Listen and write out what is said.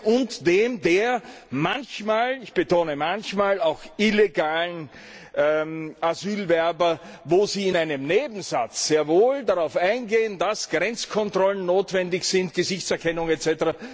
und dem der manchmal ich betone manchmal auch illegalen Asylbewerber, wo sie in einem Nebensatz sehr wohl darauf eingehen, dass Grenzkontrollen notwendig sind, Gesichtserkennung etc.,